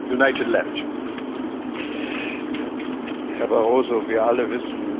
Herr Barroso, wir alle wissen um die Wichtigkeit der Stabilität des Euro.